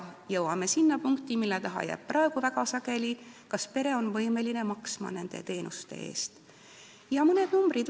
Jõuamegi sinna punkti, mille taha jääb see asi praegu väga sageli: kas pere on võimeline nende teenuste eest maksma.